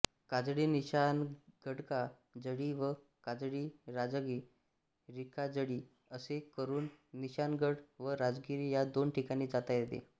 काजळीनिशाणगडकाजळी व काजळीराजागिरीकाजळी असे करून निशाणगड व राजागिरी या दोन ठिकाणी जाता येते